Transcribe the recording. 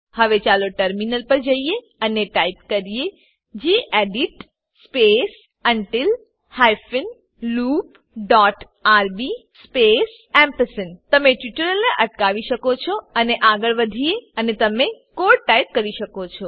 હવે ચાલો ટર્મિનલ પર જઈએ અને ટાઈપ કરીએ gedit space until hyphen loop dot RB space gedit space until hyphen loop dot RB space ampersand તમે ટ્યુટોરીયલને અટકાવી શકો છો અને આગળ વધીએ અને તમે કોડ ટાઈપ કરી શકો છો